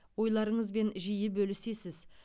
ойларыңызбен жиі бөлісесіз